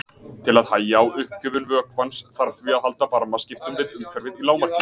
Til að hægja á uppgufun vökvans þarf því að halda varmaskiptum við umhverfið í lágmarki.